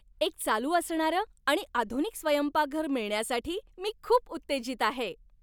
एक चालू असणारं आणि आधुनिक स्वयंपाकघर मिळण्यासाठी मी खूप उत्तेजित आहे.